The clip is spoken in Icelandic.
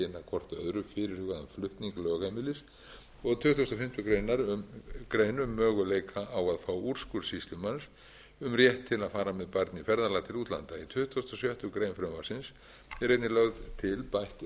hvort öðru um fyrirhugaðan flutning lögheimilis og tuttugasta og fimmtu grein um möguleika á að fá úrskurð sýslumanns um rétt til að fara með barn í ferðalag til útlanda í tuttugasta og sjöttu greinar frumvarpsins er einnig lögð til bætt